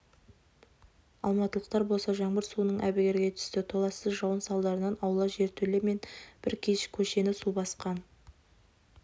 алматылықтар болса жаңбыр суынан әбігерге түсті толассыз жауын салдарынан аула жертөле мен бір көшені су басқан